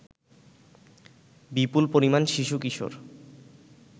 বিপুল পরিমাণ শিশু-কিশোর